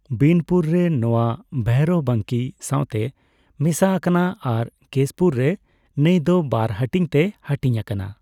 ᱵᱤᱱᱯᱩᱨ ᱨᱮ ᱱᱚᱣᱟ ᱵᱷᱚᱭᱨᱚᱵᱵᱟᱱᱠᱤ ᱥᱟᱣᱛᱮ ᱢᱮᱥᱟ ᱟᱠᱟᱱᱟ ᱟᱨ ᱠᱮᱥᱯᱩᱨ ᱨᱮ ᱱᱟᱹᱭ ᱫᱚ ᱵᱟᱨ ᱦᱟᱹᱴᱤᱧ ᱛᱮ ᱦᱟᱹᱴᱤᱧ ᱟᱠᱟᱱᱟ ᱾